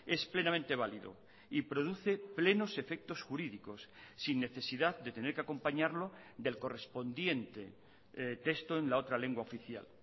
es plenamente válido y produce plenos efectos jurídicos sin necesidad de tener que acompañarlo del correspondiente texto en la otra lengua oficial